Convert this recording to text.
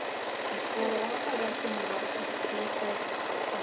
Hann sló rakspíra á kinnarnar og setti plötu á fóninn.